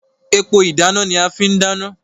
Epo ìdáná ni a fi n dana.